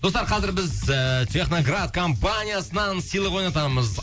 достар қазір біз ііі техноград компаниясынан сыйлық ойнатамыз